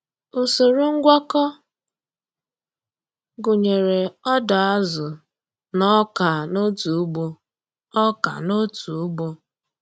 Usoro ngwakọ gụnyere ọdọ azụ na ọka n'otu ugbo. ọka n'otu ugbo.